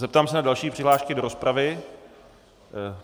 Zeptám se na další přihlášky do rozpravy.